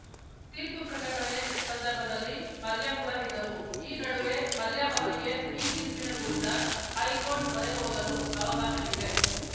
ತೀರ್ಪು ಪ್ರಕಟಣೆ ಸಂದರ್ಭದಲ್ಲಿ ಮಲ್ಯ ಕೂಡ ಇದ್ದರು ಈ ನಡುವೆ ಮಲ್ಯ ಅವರಿಗೆ ಈ ತೀರ್ಪಿನ ವಿರುದ್ಧ ಹೈಕೋರ್ಟ್‌ ಮೊರೆ ಹೋಗಲು ಅವಕಾಶವಿದೆ